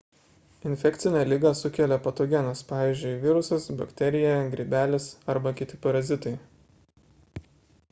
infekcinę ligą sukelia patogenas pvz. virusas bakterija grybelis arba kiti parazitai